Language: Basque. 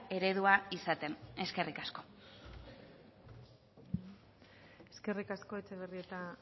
eredua izaten eskerrik asko eskerrik asko etxebarrieta